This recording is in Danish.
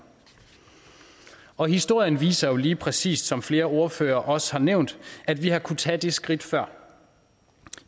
og historien viser jo lige præcis som flere ordførere også har nævnt at vi har kunnet tage det skridt før